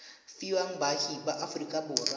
fiwa baagi ba aforika borwa